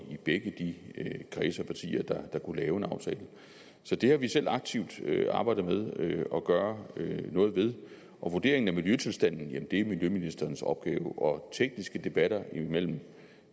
begge de kredse af partier der kunne lave en aftale så det har vi selv aktivt arbejdet med at gøre noget ved vurderingen af miljøtilstanden er miljøministerens opgave og tekniske debatter imellem